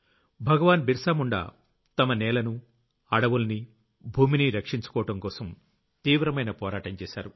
భగవాన్ బిరసా ముండ్ తమ నేలను అడవుల్ని భూమిని రక్షించుకోవడంకోసం తీవ్రమైన పోరాటం చేశారు